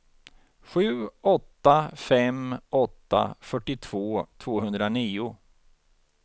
sju åtta fem åtta fyrtiotvå tvåhundranio